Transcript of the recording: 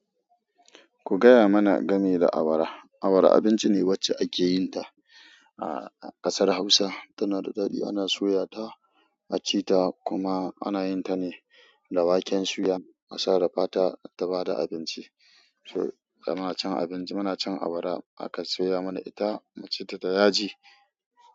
Ku gaya mana game da awara. Awara abinci ne wacce ake yin ta a ƙasar Hausa tana da daɗi ana soya ta a ci ta kuma ana yin ta ne da waken suya. A sarrafa ta ta ba da abinci. So da muna cin abinci muna cin awara aka soya mana ita mu ci ta da yaji.